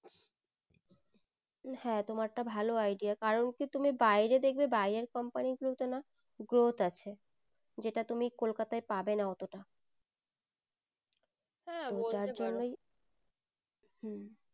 হ্যাঁ তোমার তা ভালো idea কারণ কি তুমি বাইরে দেখবে বাইরের company গুলোতে না growth আছে যেটা তুমি কলকাতায় পাবে না অতটা হ্যাঁ বলতে পারো যার জন্যই হম